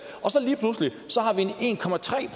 og så